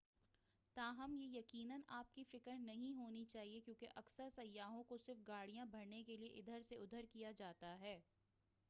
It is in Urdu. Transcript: تاہم یہ یقیناً آپ کی فکر نہیں ہونی چاہیے کیونکہ اکثر سیاحوں کو صرف گاڑیاں بھرنے کے لیے ادھر سے اُدھر کیا جاتا ہے